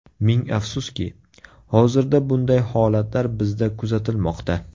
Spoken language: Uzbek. Ming afsuski, hozirda bunday holatlar bizda kuzatilmoqda.